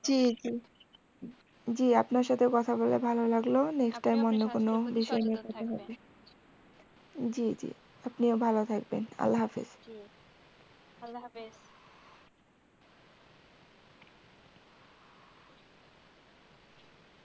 জি জি জি আপনার সাথে কথা বলেও ভালো লাগলো next time অন্য কোনো বিষয় নিয়ে কথা হবে জি জি আপনিও ভালো থাকবেন আল্লাহ্হাফেজ